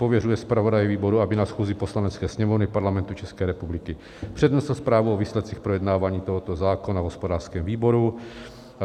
Pověřuje zpravodaje výboru, aby na schůzi Poslanecké sněmovny Parlamentu České republiky přednesl zprávu o výsledcích projednávání tohoto zákona v hospodářském výboru.